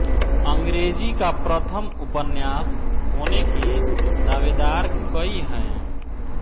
अंग्रेजी का प्रथम उपन्यास होने के दावेदार कई हैं